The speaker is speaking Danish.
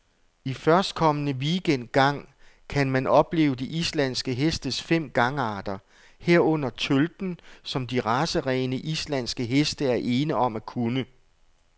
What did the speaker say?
I førstkommende weekend gang kan man opleve de islandske hestes fem gangarter, herunder tølten, som de racerene, islandske heste er ene om at kunne.